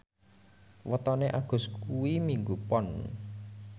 wetone Agus kuwi Minggu Pon